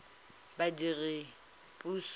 badiredipuso